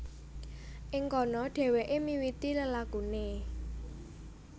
Ing kono dhèwèké miwiti lelakuné